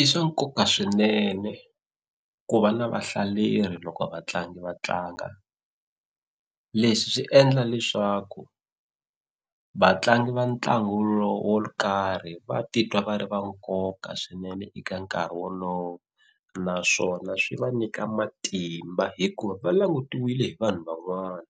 I swa nkoka swinene ku va na vahlaleri loko vatlangi va tlanga leswi swi endla leswaku vatlangi va ntlangu lowu wo karhi va titwa va ri va nkoka swinene eka nkarhi wolowo naswona swi va nyika matimba hikuva va langutiwile hi vanhu van'wana